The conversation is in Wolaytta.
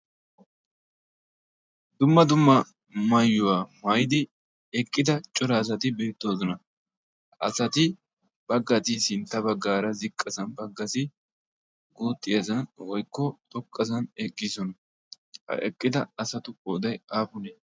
dumma dumma maayuwaa maaydi eqqida cora asati beettoosona asati baggati sintta baggaara ziqqasan baggasi gootti ayisi woykko toqqasan eqgiisona ha eqqida asatu ooday aapunee?